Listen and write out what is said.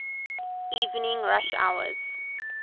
evening rush hours